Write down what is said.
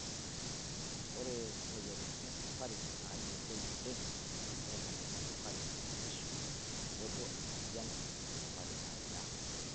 Ore moyiartin esukari naayioloi oleng naa emoyian esukari ekitisho tenebo emoyian esukari naida.